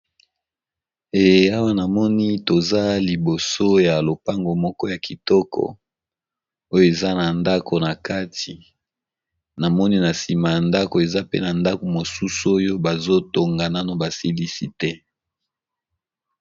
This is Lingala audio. Awa na moni toza liboso ya lopango moko ya kitoko oyo eza na ndako na kati na moni na sima na ndako eza pe na ndako mosusu oyo bazotonga nano basilisi te.